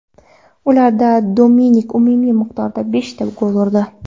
Ularda Dominik umumiy miqdorda beshta gol urdi.